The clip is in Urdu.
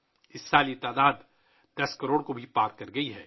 اس سال یہ تعداد بھی 10 کروڑ سے تجاوز کر گئی ہے